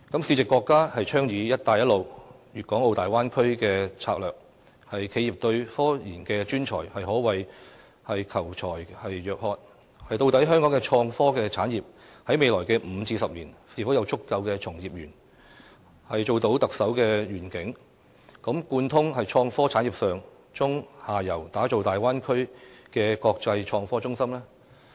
時值國家倡議"一帶一路"和大灣區等策略，企業對科研專才可謂求才若渴，究竟香港的創科產業在未來5至10年會否有足夠的從業員，實現特首所提出"貫通創科產業的上、中、下游，打造大灣區的國際創科中心"的願景？